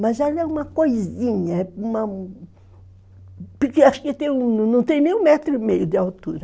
Mas ela é uma coisinha, é uma... Porque acho que não tem nem um metro e meio de altura.